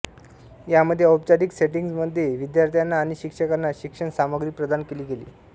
यामध्ये औपचारिक सेटिंग्जमध्ये विद्यार्थ्यांना आणि शिक्षकांना शिक्षण सामग्री प्रदान केली गेली